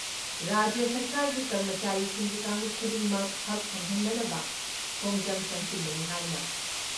ꯔꯥꯖ꯭ꯌ ꯁꯔꯀꯥꯔꯒꯤ ꯀꯔꯃꯆꯥꯔꯤꯁꯤꯡꯒꯤ ꯀꯥꯡꯂꯨꯞ ꯈꯨꯗꯤꯡꯃꯛ ꯍꯛ ꯐꯪꯍꯟꯅꯕ ꯈꯣꯡꯖꯪ ꯆꯪꯁꯤꯟꯕꯅꯤ ꯍꯥꯏꯅ